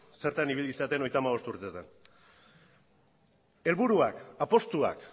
zertan ibili zareten hogeita hamabost urtetan helburuak apustuak